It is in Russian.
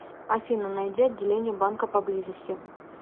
афина найди отделение банка поблизости